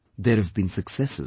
There have been successes